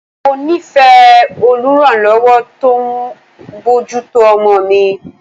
Mo nífẹ̀ẹ́ oluranlowo tó ń bójú tó ọmọ mi.